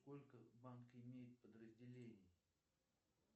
сколько банк имеет подразделений